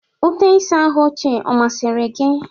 Ute ịsa ahụ ochie ọ masịrị gị?